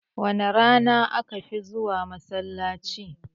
Wace rana aka fi zuwa masallaci?